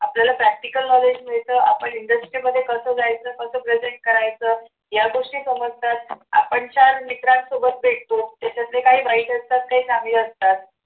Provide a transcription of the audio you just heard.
आपल्याला practical knowledge मिळत आपण industrial मध्ये कस जायचं कस present करायचं या गोष्टी समजण्यात आपण छान मित्रांसोबत भेटतो त्याच्यातले काही वाईट असतात तर काही चांगले असतात.